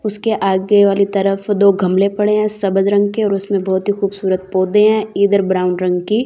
उसके आगे वाली तरफ दो गमले पड़े हैं सबज रंग के और उसमें बहुत ही खूबसूरत पौधे हैं इधर ब्राउन रंग की--